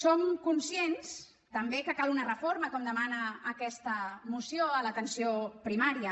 som conscients també que cal una reforma com demana aquesta moció a l’atenció primària